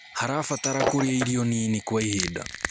harabatara kũrĩa irio nini kwa ihinda